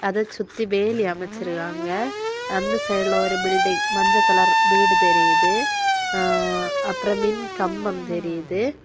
அத சுத்தி வேலி அமைச்சுருக்காங்க அந்த சைடுல ஒரு பில்டிங் மஞ்சள் கலர் வீடு தெரியுது அ அப்ரோ மின் கம்பம் தெரியுது.